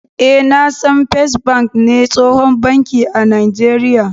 Eh, na san " first bank " ne tsohon banki a najeria.